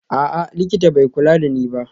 A'a, likita bai kula da ni ba